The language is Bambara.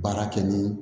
Baara kɛ ni